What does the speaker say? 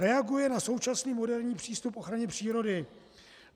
Reaguje na současný moderní přístup k ochraně přírody.